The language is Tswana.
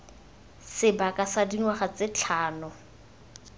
sebaka sa dingwaga tse tlhano